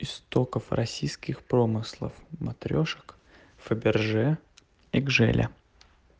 истоков российских промыслов матрёшек фаберже и гжеля